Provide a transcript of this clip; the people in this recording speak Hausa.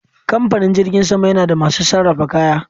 Kamfanin jirgin sama yana da masu sarrafa kaya